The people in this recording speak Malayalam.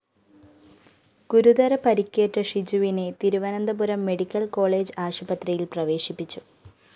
ഗുരുതര പരിക്കേറ്റ ഷിജുവിനെ തിരുവനന്തപുരം മെഡിക്കൽ കോളജ് ആശുപത്രിയില്‍ പ്രവേശിപ്പിച്ചു